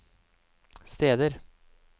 steder